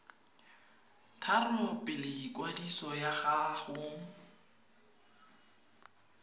tharo pele ikwadiso ya gago